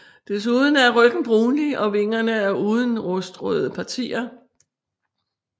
Desuden er ryggen brunlig og vingerne er uden rustrøde partier